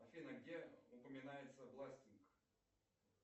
афина где упоминается бластинг